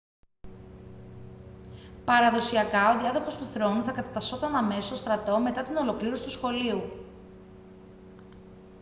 παραδοσιακά ο διάδοχος του θρόνου θα κατατασσόταν αμέσως στον στρατό μετά την ολοκλήρωση του σχολείου